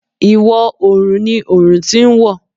Ìwọ̀ òrùn ni òrùn ti ń wọ̀.